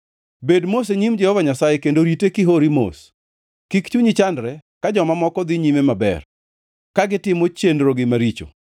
Bed mos e nyim Jehova Nyasaye, kendo rite kihori mos; kik chunyi chandre ka joma moko dhi nyime maber, ka gitimo chenrogi maricho.